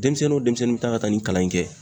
Denmisɛnnin o denmisɛnnin bi ta ka taa nin kalan in kɛ